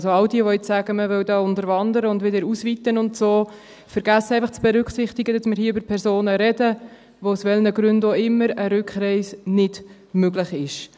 Also: All jene, die jetzt sagen, man wolle hier unterwandern und wieder ausweiten und so weiter, vergessen einfach zu berücksichtigen, dass wir hier über Personen sprechen, bei denen aus welchen Gründen auch immer eine Rückreise nicht möglich ist.